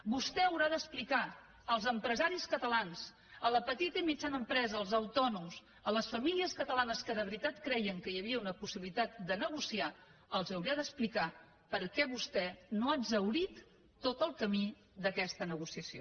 vostè haurà d’explicar als empresaris catalans a la petita i mitjana empresa als autònoms a les famílies catalanes que de veritat creien que hi havia una possibilitat de negociar els ho haurà d’explicar per què vostè no ha exhaurit tot el camí d’aquesta negociació